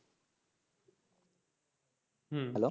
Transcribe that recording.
হম